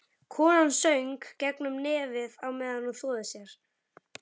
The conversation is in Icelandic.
Konan söng gegnum nefið á meðan hún þvoði sér.